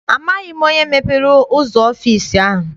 Amaghị m onye mepere ụzọ ọfịịsi ahụ.